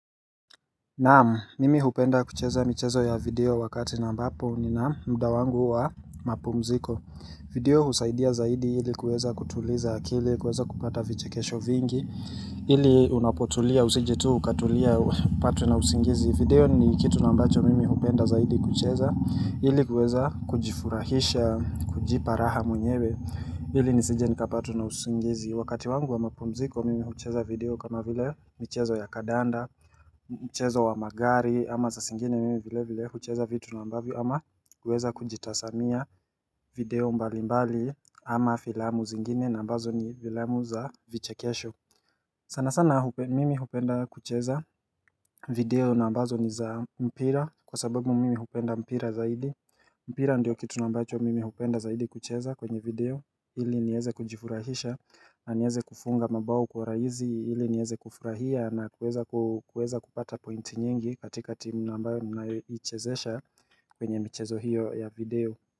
Naam, mimi hupenda kucheza mchezo ya video wakati naambapo nina mda wangu wa mapumziko video husaidia zaidi ili kueza kutuliza akili, kueza kupata vichekesho vingi ili unapotulia, usije tu, ukatulia, upatwe na usingizi video ni kitu na ambacho mimi hupenda zaidi kucheza ili kueza kujifurahisha, kujipa raha mwenyewe ili nisije nikapatwa na usingizi Wakati wangu wa mapumziko mimi hucheza video kama vile mchezo ya kadanda Mchezo wa magari ama za singine mimi vile vile kucheza vitu na mbavi ama uweza kujitazamia video mbali mbali ama filamu zingine na ambazo ni filamu za vichekesho sana sana mimi hupenda kucheza video na ambazo ni za mpira kwa sababu mimi hupenda mpira zaidi mpira ndio kitunambacho mimi hupenda zaidi kucheza kwenye video ili nieze kujifurahisha na nieze kufunga mabao kwa raihisi hili nieze kufurahia na kueza kupata pointi nyingi katika timu namba mnaichezesha kwenye michezo hiyo ya video.